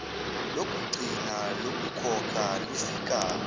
lokugcina lokukhokha lufika